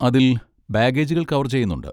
അതിൽ ബാഗേജുകൾ കവർ ചെയ്യുന്നുണ്ട്.